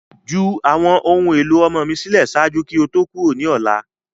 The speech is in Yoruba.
Ju awọn ohun elo ọmọ mi silẹ ṣaaju ki o to kuro ni ọla!